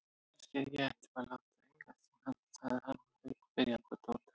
Kannski ég ætti að láta hana eiga sig? sagði hann og leit spyrjandi á Tóta.